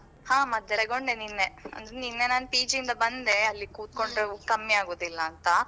ಹಾ ಮದ್ದು ತಗೊಂಡೆ ನಿನ್ನೆ. ಅಂದ್ರೆ ನಿನ್ನೆ ನಾನ್ PG ಇಂದ ಬಂದೆ, ಅಲ್ಲಿ ಕೂತ್ಕೊಂಡ್ರೆ ಕಮ್ಮಿ ಆಗುದಿಲ್ಲ ಅಂತ.